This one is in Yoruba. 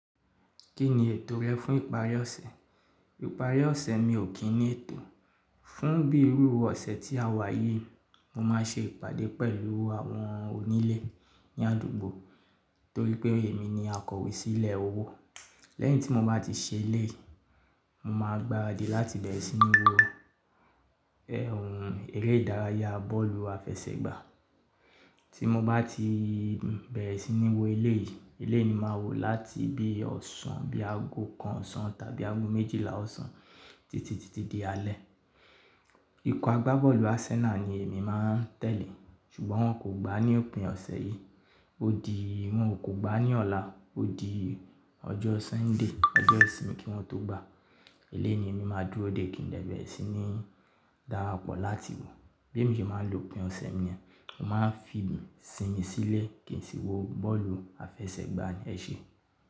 Kí ni ètò rẹ fún ìparí ọ̀sẹ̀? Ìparí ọ̀sẹ̀ mi ò kí n ní ètò. Fún bí irú ọ̀sẹ̀ tí a wà yìí, mo máa ṣe ìpàdé pẹ̀lú àwọn onílé ní àdúgbò torí pé èmi ni akọ̀wé sílẹ̀ owó. Lẹ́yìn tí mo bá ti ṣe eleyi, mo máa gba òde láti bẹ̀rẹ̀ sí ní wo ẹ̀hùn eré ìdárayá bọ́ọ̀lù àfẹsẹ̀gbá. Tí mo bá ti bẹ̀rẹ̀ sí ní wo eleyìí, eleyii ni màá wò láti bí ọ̀sán, bí aago kan ọ̀sán tàbí aago méjìlá ọ̀sán títí titi di alẹ́. Ikọ̀ agbábọ̀ọ̀lù Arsenal ni èmi máa tẹ̀lé, ṣùgbọ́n wọn kò gbá ní òpin ọ̀sẹ̀ yìí, ó di wọn kò gbá ní ọ̀la, ó di ọjọ́ Sunday, ọjọ́ ìsinmi kí wọ́n tó gbá. Ilé ni èmi máa dúró dé kí n lè bẹ̀rẹ̀ sí ní darapọ̀ láti wò. Bí èmi ṣe máa lò pín ọ̀sẹ̀ mi ni, mo máa n fi sìnmi sílé kí n sì wo bọ́ọ̀lù àfẹsẹ̀gbá ní ẹṣẹ.